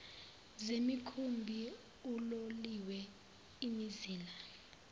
zemikhumbi uloliwe imizila